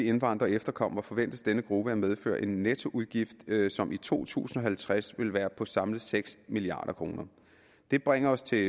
indvandrere og efterkommere forventes denne gruppe at medføre en nettoudgift som i to tusind og halvtreds vil være på samlet seks milliard kroner det bringer os til